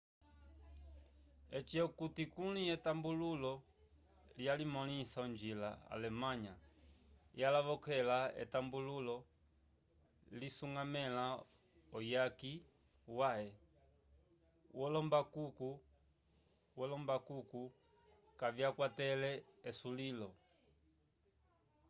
eci okuti kuli etambululo liya limõlisa onjila alemanha yalavokale etambululo lisuñgamẽla uyaki wãhe wolombaluku kavyakwatele esulilo